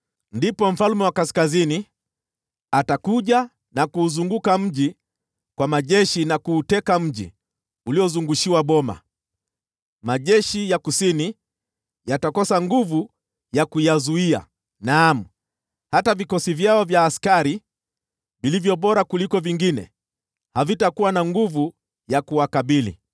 Ndipo mfalme wa Kaskazini atakuja na kuuzunguka mji kwa majeshi, na kuuteka mji wa ngome. Majeshi ya Kusini yatakosa nguvu za kuyazuia; naam, hata vikosi vyao vya askari vilivyo bora zaidi, havitakuwa na nguvu ya kuwakabili.